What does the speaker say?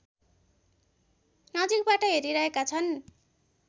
नजिकबाट हेरिरहेका छन्